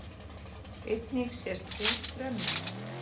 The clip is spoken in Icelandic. Einnig sést hús brenna